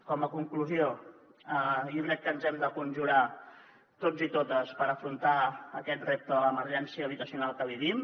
com a conclusió jo crec que ens hem de conjurar tots i totes per afrontar aquest repte de l’emergència habitacional que vivim